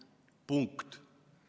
Punkt.